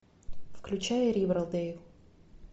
включай ривердейл